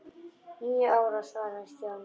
Níu ára svaraði Stjáni.